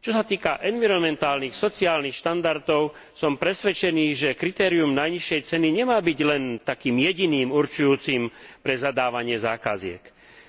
Čo sa týka environmentálnych sociálnych štandardov, som presvedčený, že kritérium najnižšej ceny nemá byť len jediným určujúcim pre zadávanie zákaziek.